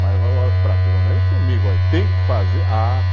Mas agora, para, pelo menos comigo, tem que fazer. Ah, não